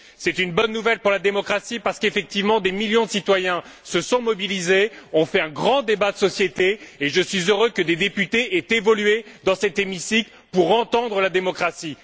C'est une bonne nouvelle pour la démocratie, parce qu'effectivement des millions de citoyens se sont mobilisés, ont fait un grand débat de société, et je suis heureux que des députés aient évolué, dans cet hémicycle, pour entendre la démocratie.